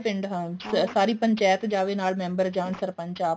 ਹਾਂ ਸਾਰੀ ਪੰਚਾਇਤ ਜਾਵੇ ਨਾਲ member ਜਾਣ ਸਰਪੰਚ ਆਪ